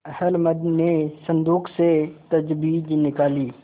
अहलमद ने संदूक से तजबीज निकाली